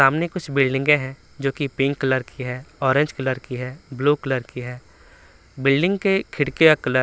सामने कुछ बिल्डिंगें हैं जो कि पिंक कलर की है ऑरेंज कलर की है ब्लू कलर की है बिल्डिंग के खिड़की का कलर --